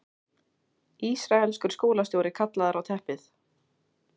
Ísraelskur skólastjóri kallaður á teppið